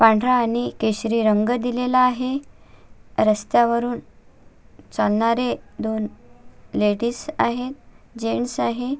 पांढरा आणि केशरी रंग दिलेला आहे रस्त्यावरुण चालणारे दोन लेडिज आहे जेंट्स आहे.